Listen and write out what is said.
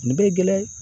Nin bɛ gɛlɛya